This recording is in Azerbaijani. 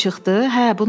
O da bu çıxdı!